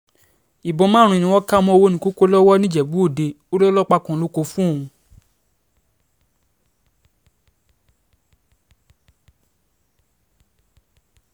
ìbọn márùn-ún ni wọ́n kà mọ́ ọwọ̀nìkòkò lowó nìjẹ́bú-ọdẹ ò lọ́lọ́pàá kan ló kó o fóun